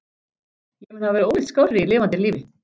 Ég mun hafa verið ólíkt skárri í lifanda lífi.